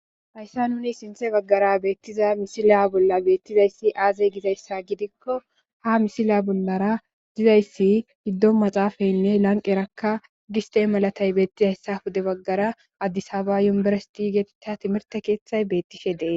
hayssan nuni sinthe baggara beettiza misila bolla beettizayssi aaze gizayssa gidikko ha misilya bollara dizayssi giddon maxaafaynne lanqerakka giste malatay beettizayssa hude baggara addisaba yumbersiti geetitta timirte keeththay beettishe de'es